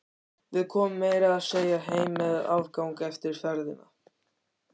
Við komum meira að segja heim með afgang eftir ferðina.